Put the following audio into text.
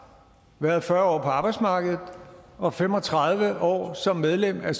været fyrre år på arbejdsmarkedet og fem og tredive år som medlem af